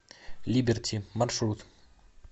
либерти маршрут